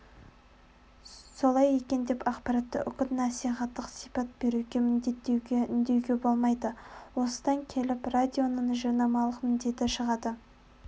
солай екен деп ақпаратқа үгіт-насихаттық сипат беруге міндеттеуге үндеуге болмайды осыдан келіп радионың жарнамалық міндеті шығады